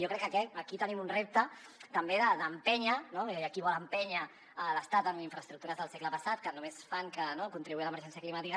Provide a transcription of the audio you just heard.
jo crec que aquí tenim un repte també d’empènyer no hi ha qui vol empènyer l’estat amb infraestructures del segle passat que només fan que contribuir a l’emergència climàtica